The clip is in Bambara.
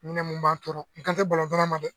mun b'an tɔɔrɔ n kan tɛ ma dɛ!